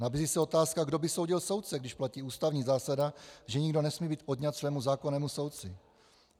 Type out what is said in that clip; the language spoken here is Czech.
Nabízí se otázka, kdo by soudil soudce, když platí ústavní zásada, že nikdo nesmí být odňat svému zákonnému soudci.